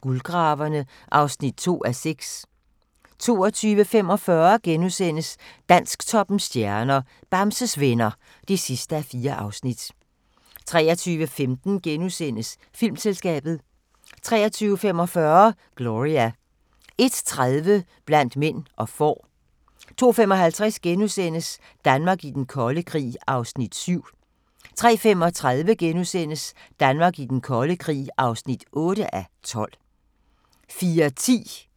Guldgraverne (2:6)* 22:45: Dansktoppens stjerner: Bamses Venner (4:4)* 23:15: Filmselskabet * 23:45: Gloria 01:30: Blandt mænd og får 02:55: Danmark i den kolde krig (7:12)* 03:35: Danmark i den kolde krig (8:12)* 04:10: Hvornår var det nu, det var? (søn og tir)